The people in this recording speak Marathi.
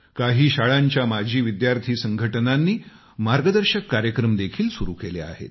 काही शाळांच्या माजी विद्यार्थी संघटनांनी मार्गदर्शक कार्यक्रम देखील सुरु केले आहेत